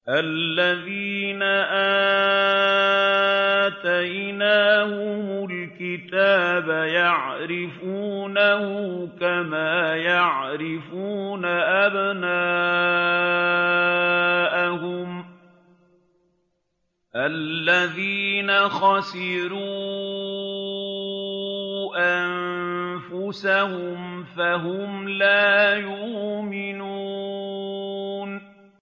الَّذِينَ آتَيْنَاهُمُ الْكِتَابَ يَعْرِفُونَهُ كَمَا يَعْرِفُونَ أَبْنَاءَهُمُ ۘ الَّذِينَ خَسِرُوا أَنفُسَهُمْ فَهُمْ لَا يُؤْمِنُونَ